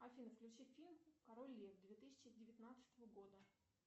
афина включи фильм король лев две тысячи девятнадцатого года